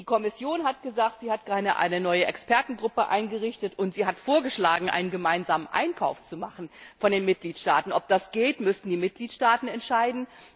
Die Kommission hat gesagt, sie hat gerade eine neue Expertengruppe eingerichtet, und sie hat vorgeschlagen, einen gemeinsamen Einkauf der Mitgliedstaaten zu machen. Ob das geht, müssen die Mitgliedstaaten entscheiden.